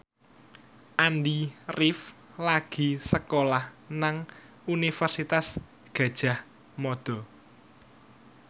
Andy rif lagi sekolah nang Universitas Gadjah Mada